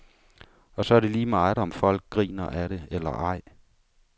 Og så er det lige meget, om folk griner af det eller ej.